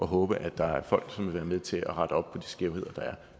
håber at der er folk som vil være med til at rette op på de skævheder